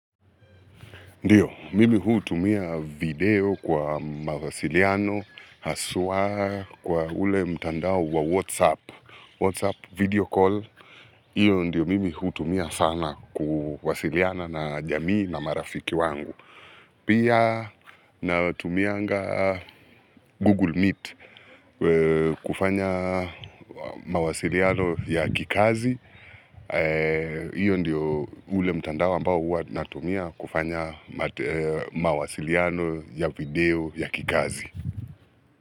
Ndiyo, mimi hutumia video kwa mawasiliano, haswa kwa ule mtandao wa Whatsapp, Whatsapp, video call. Iyo ndiyo mimi hutumia sana kuwasiliana na jamii na marafiki wangu. Pia natumianga Google Meet kufanya mawasiliano ya kikazi. Iyo ndiyo ule mtandao ambao huwa natumia kufanya mawasiliano ya video ya kikazi.